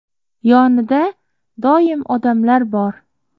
Yonida doim odamlar bor.